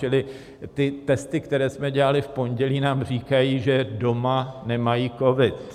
Čili ty testy, které jsme dělali v pondělí, nám říkají, že doma nemají covid.